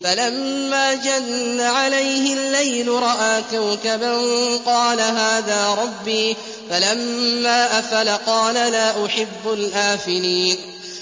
فَلَمَّا جَنَّ عَلَيْهِ اللَّيْلُ رَأَىٰ كَوْكَبًا ۖ قَالَ هَٰذَا رَبِّي ۖ فَلَمَّا أَفَلَ قَالَ لَا أُحِبُّ الْآفِلِينَ